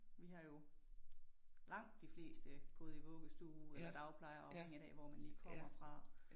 Vi har jo langt de fleste gået i vuggestue eller dagplejer afhængigt af hvor man lige kommer fra